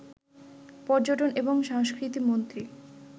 পর্যটন এবং সংস্কৃতি মন্ত্রী